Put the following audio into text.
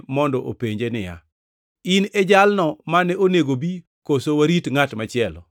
mondo openje niya, “In e jalno mane onego obi, koso warit ngʼat machielo?”